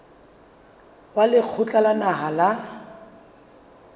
wa lekgotla la naha la